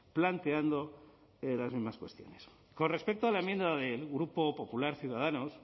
planteando las mismas cuestiones con respecto a la enmienda del grupo popular ciudadanos